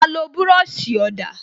A lo búròsì ọ̀dà